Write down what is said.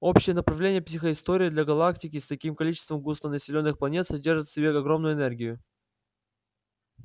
общее направление психоистории для галактики с таким количеством густонаселённых планет содержит в себе огромную энергию